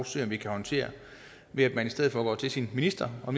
se om vi kan håndtere ved at man i stedet for går til sin minister og